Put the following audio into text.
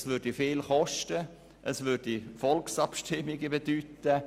Das würde viel kosten und zu Volksabstimmungen führen.